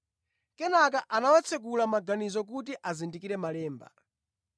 Kenaka anawatsekula maganizo kuti azindikire Malemba.